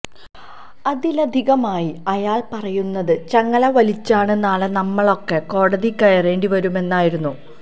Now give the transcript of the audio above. അതിലധികമായി അയാള് പറയുന്നത് ചങ്ങല വലിച്ചാല് നാളെ നമ്മളൊക്കെ കോടതി കയറേണ്ടി വരുമെന്നുമായിരുന്നു